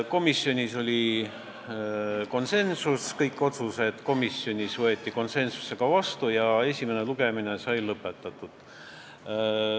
Kõik otsused võeti komisjonis vastu konsensusega ja esimene lugemine sai lõpetatud.